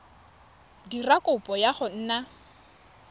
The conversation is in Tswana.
dira kopo ya go nna